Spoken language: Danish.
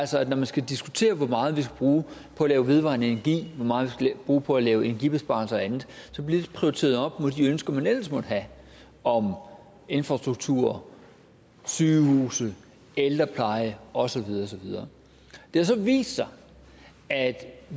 så når vi skal diskutere hvor meget vi skal bruge på at lave vedvarende energi hvor meget vi bruge på at lave energibesparelser og andet så bliver det prioriteret op mod de ønsker man ellers måtte have om infrastruktur sygehuse ældrepleje og så videre og så videre det har så vist sig at